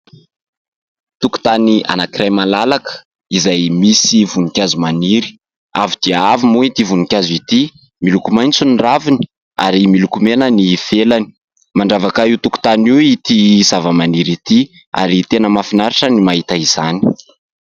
Tokotany anankiray malalaka, izay misy voninkazo maniry avo dia avo moa ity voninkazo ity, miloko maitso ny raviny ary miloko mena ny felany, mandravaka io tokotany io ity zavamaniry ity ary tena mafinaritra ny mahita izany.